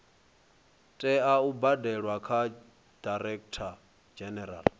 tea u badelwa kha directorgeneral